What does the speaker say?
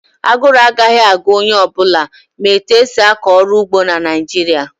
Aguru agaghị agu onye ọ bụla ma etu esi akọ ọrụ ugbo na Naịjirịa